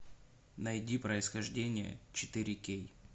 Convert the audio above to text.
найди происхождение четыре кей